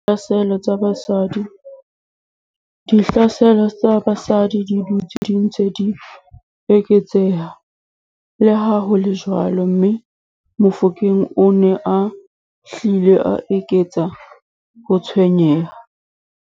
Ditlhaselo tsa basadi di dutse di ntse di eketseha, leha ho le jwalo, mme Mofokeng o ne a hlile a eketsa ho tshwenyeha.